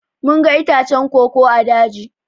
Mun ga itacen koko ã daji.